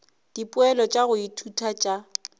dipoelo tša go ithuta tša